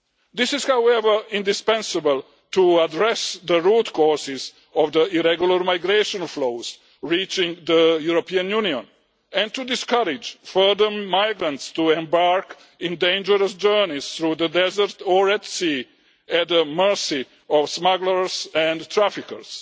This is, however, indispensable to address the root causes of the irregular migration flows reaching the European Union, and to discourage further migrants from embarking on dangerous journeys through the desert or at sea at the mercy of smugglers and traffickers.